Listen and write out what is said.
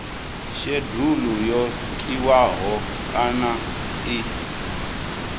shedulu yo tiwaho kana i